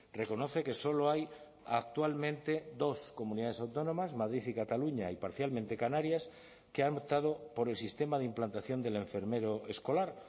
reconoce que solo hay actualmente dos comunidades autónomas madrid y cataluña y parcialmente canarias que han optado por el sistema de implantación del enfermero escolar